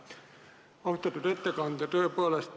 Austatud ettekandja!